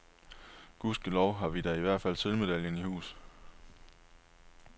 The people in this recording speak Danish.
Gudskelov har vi da i hvert fald sølvmedaljen i hus.